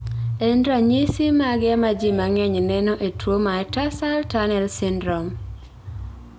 En ranyisi mage ma ji mang�eny neno e tuo mar tarsal tunnel syndrome?